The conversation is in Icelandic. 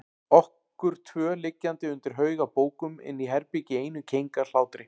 Okkur tvö liggjandi undir haug af bókum inni í herbergi í einum keng af hlátri.